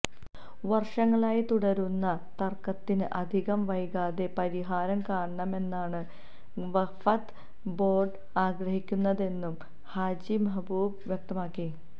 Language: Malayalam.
വര്ഷങ്ങളായി തുടരുന്ന തര്ക്കത്തിന് അധികം വൈകാതെ പരിഹാരം കാണണമെന്നാണ് വഖഫ് ബോര്ഡ് ആഗ്രഹിക്കുന്നതെന്നും ഹാജി മെഹ്ബൂബ് വ്യക്തമാക്കി